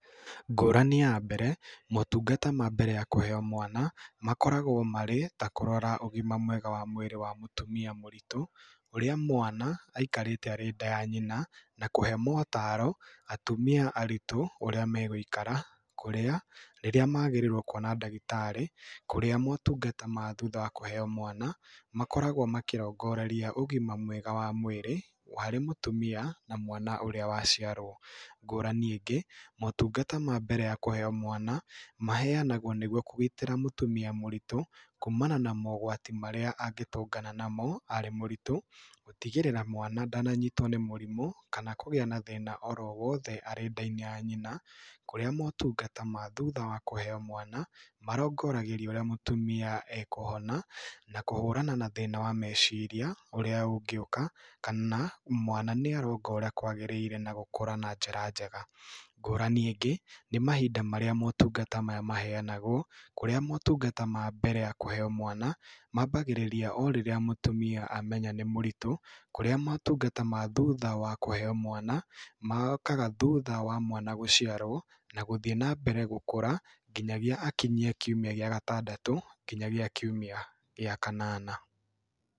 Ngũrani ya mbere, motungata ma mbere ya kũheo mwana makoragwo marĩ, ta kũrora ũgima mwega wa mwĩrĩ wa mũtumia mũritũ, ũrĩa mwana aikarĩte arĩ nda ya nyina, na kũhe motaro atumia aritũ ũrĩa me gũikara, kũrĩa, rĩrĩa magĩrĩirwo kuona ndagĩtarĩ, kũrĩa motungata ma thutha wa kũheo mwana, makoragwo makĩrongoreria ũgima mwega wa mwĩrĩ harĩ mũtumia na mwana ũrĩa wa ciarwo. Ngũrani ĩngĩ, motungata ma mbere ya kũheo mwana, maheanagwo nĩ guo kũgitĩra mũtumia mũritũ kuumana na mogwati marĩa angĩtũngana namo arĩ mũritũ, gũtigĩrĩra mwana ndananyitwo nĩ mũrimũ, kana kũgia na thĩna oro wothe arĩ nda-inĩ ya nyina, kũrĩa motungata ma thutha wa kũhoe mwana marongoragĩria ũrĩa mũtumia ekũhona na kũhũrana na thĩna wa meciria ũrĩa ũngĩũka, kana mwana nĩ aronga ũrĩa kwagĩrĩire na gũkũra na njĩra njega. Ngũrani ĩngĩ nĩ mahinda marĩa motungata maya maheanagwo, kũrĩa motungata ma mbere ya kũheo mwana, mambagĩrĩria o rĩrĩa mũtumia amenya nĩ mũritũ, kũrĩa motungata ma thutha wa kũheo mwana mokaga thutha wa mwana gũciarwo na gũthiĩ na mbere gũkũra nginyagia akinyie kiumia gĩa gatandatũ nginyagia kiumia gĩa kanana.